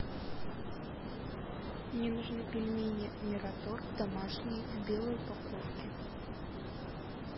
мне нужны пельмени мираторг домашние в белой упаковке